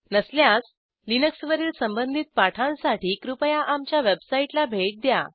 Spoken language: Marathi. नसल्यास लिनक्सवरील संबंधित पाठांसाठी कृपया आमच्या वेबसाईटला भेट द्या